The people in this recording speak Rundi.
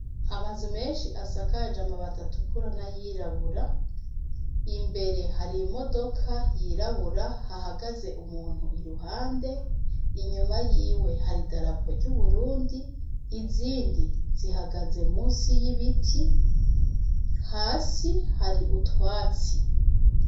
Amazu menshi asakaje amabati atukura n'ayirabura, imbere hari imodoka yirabura, hahagaze umuntu iruhande, inyuma yiwe hari idarapo ry'Uburundi, izindi zihagaze musi y'ibiti, hasi hari utwatsi.